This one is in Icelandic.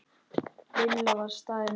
Lilla var staðin upp.